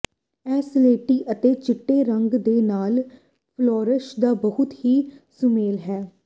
ਇਹ ਸਲੇਟੀ ਅਤੇ ਚਿੱਟੇ ਰੰਗ ਦੇ ਨਾਲ ਫ਼ਲੋਰਸ ਦਾ ਬਹੁਤ ਹੀ ਸੁਮੇਲ ਹੈ